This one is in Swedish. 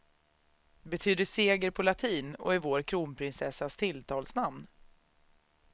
Betyder seger på latin och är vår kronprinsessas tilltalsnamn.